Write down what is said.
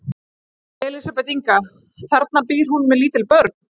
Elísabet Inga: Þarna býr hún með lítil börn?